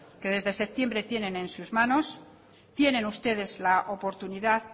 que desde septiembre tienen en sus manos tienen ustedes la oportunidad